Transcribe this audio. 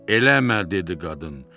Eləmə dedi qadın.